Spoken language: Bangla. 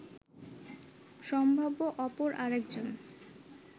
সম্ভাব্য অপর আরেকজন